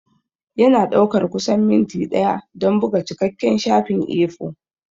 Yana ɗaukar kusan minti ɗaya don buga cikakken shafin A4.